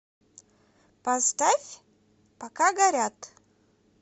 поставь пока горят